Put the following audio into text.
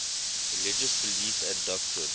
religious belief and doctrine